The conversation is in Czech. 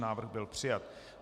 Návrh byl přijat.